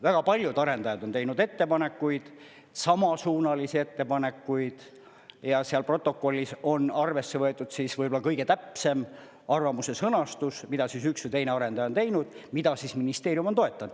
Väga paljud arendajad on teinud ettepanekuid, samasuunalisi ettepanekuid ja seal protokollis on arvesse võetud siis võib-olla kõige täpsem arvamuse sõnastus, mida üks või teine arendaja on teinud, mida ministeerium on toetanud.